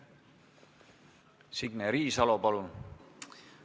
Signe Riisalo, palun!